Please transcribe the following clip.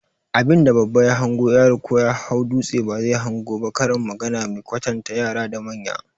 Abin da babba ya hango, yaro ko ya hau dutse ba zai hango ba, karin magana mai kwatanta yara da manya